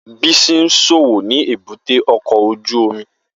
Bisi ń ṣòwò ni èbúté ọkọ̀ ojú omi